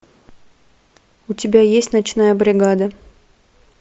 у тебя есть ночная бригада